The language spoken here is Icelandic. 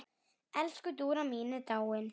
Elsku Dúra mín er dáin.